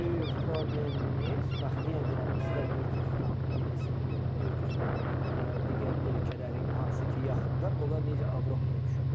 Böyük problemimiz, bax yenə deyirəm, istər Gürcüstan millisini Gürcüstanı götürək, digər ölkələri hansı ki, yaxında, onlar necə Avropaya düşürlər?